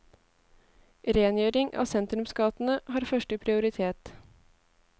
Rengjøring av sentrumsgatene har første prioritet.